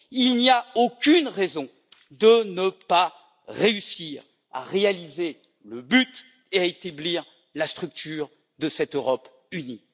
Il n'y a aucune raison de ne pas réussir à réaliser le but et à établir la structure de cette Europe unie.